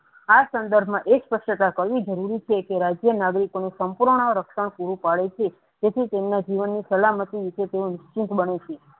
આ સંદર્ભમાં એક કે રાજય માંગ્રીકોને સંપૂર્ણ રાસ્ટન્ટ પૂરું પડે છે તેથી તેમના જીવનની સલામતી નીચે તેને ચૂક બને છે.